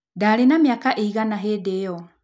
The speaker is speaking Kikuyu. Ndarĩ na mĩaka ĩigana hĩndĩ ĩyo?